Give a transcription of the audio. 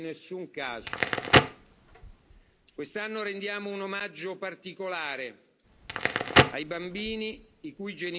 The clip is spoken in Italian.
Quest'anno rendiamo un omaggio particolare ai bambini i cui genitori sono stati condannati a morte.